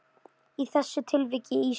Í þessu tilviki ísskáp.